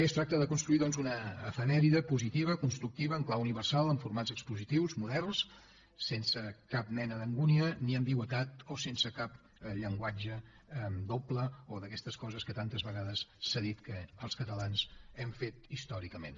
es tracta de construir doncs una efemèride positiva constructiva en clau universal amb formats expositius moderns sense cap mena d’angúnia ni ambigüitat o sense cap llenguatge doble o d’aquestes coses que tantes vegades s’ha dit que els catalans hem fet històricament